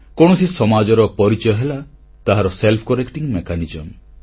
କୌଣସି ସମାଜର ପରିଚୟ ହେଲା ତାହାର ସ୍ବୟଂ ଆତ୍ମସଂସ୍କାର ପଦ୍ଧତି